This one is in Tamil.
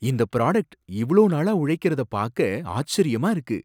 இந்த ப்ராடக்ட் இவ்ளோ நாளா உழைக்கிறத பாக்க ஆச்சரியமா இருக்கு.